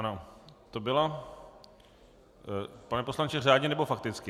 Ano, to byla... pane poslanče, řádně, nebo fakticky?